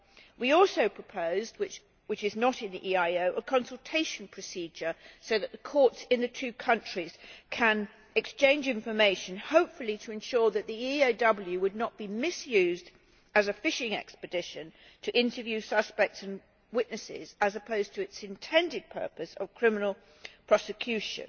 We also proposed, which is not in the EIO, a consultation procedure so that the courts in the two countries can exchange information, hopefully to ensure that the EAW will not be misused as a fishing expedition to interview suspects and witnesses, as opposed to its intended purpose of criminal prosecution.